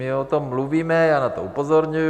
My o tom mluvíme, já na to upozorňuji.